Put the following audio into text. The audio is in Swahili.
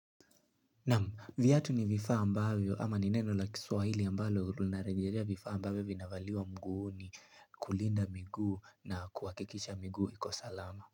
Naam viatu ni vifaa ambayo ama nineno la kiswahili ambalo vinarejelea vifaa ambavyo vinavaliwa miguuni kulinda miguu na kuhakikisha miguu ikosalama.